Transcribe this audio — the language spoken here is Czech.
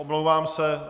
Omlouvám se.